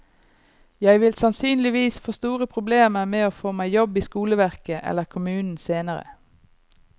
Jeg vil sannsynligvis få store problemer med å få meg jobb i skoleverket eller kommunen senere.